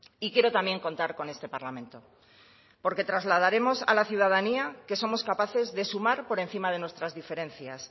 y quiero también contar con este parlamento porque trasladaremos a la ciudadanía que somos capaces de sumar por encima de nuestras diferencias